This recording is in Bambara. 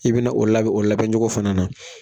I bɛna o labɛn o labɛncogo fana na